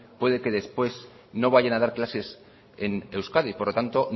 puede que después no vayan a dar clases en euskadi por lo tanto